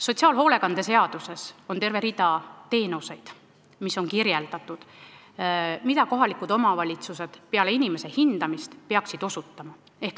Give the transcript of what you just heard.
Sotsiaalhoolekande seaduses on kirjeldatud terve rida teenuseid, mida kohalikud omavalitsused peale inimese hindamist peaksid osutama.